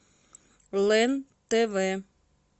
лен тв